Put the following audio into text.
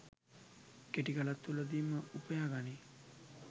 කෙටි කලක් තුළදීම උපයා ගනී.